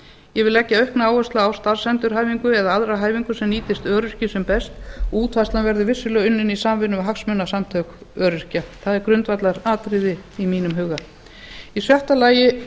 ég vil leggja aukna áherslu á starfsendurhæfingu eða aðra hæfingu sem nýtist öryrkjum sem best og útfærslan verður vissulega unnin í samvinnu við hagsmunasamtök öryrkja það er grundvallaratriði í mínum huga í sjötta lagi